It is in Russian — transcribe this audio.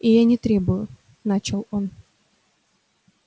и я не требую начал он